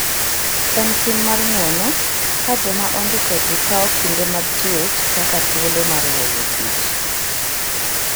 En tim mar ng'wono ka joma ondiko ji kawo kinde mag twech kaka thuolo mar weyo tich.